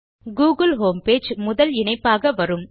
Google homepage முதல் இணைப்பாக வரும்